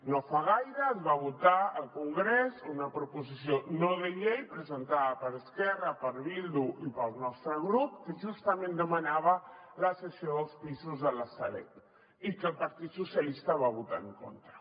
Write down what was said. no fa gaire es va votar al congrés una proposició no de llei presentada per esquerra per bildu i pel nostre grup que justament demanava la cessió dels pisos de la sareb i el partit socialistes hi va votar en contra